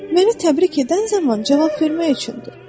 Məni təbrik edən zaman cavab vermək üçündür.